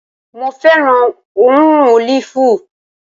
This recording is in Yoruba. Mo fẹ́ràn òórùn ólìfù